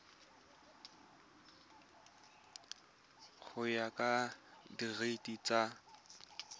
go ya ka direiti tsa